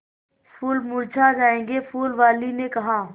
फूल मुरझा जायेंगे फूल वाली ने कहा